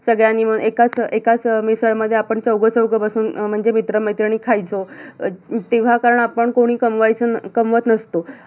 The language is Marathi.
सगळ्यांनी मिळून एकाच एकाच मिसळ मध्ये आपण चौघ चौघ बसून म्हणजे मित्रमैत्रिणी खायचो तेव्हा कारण आपण कुणी कमवायचो अं कमवत नसतो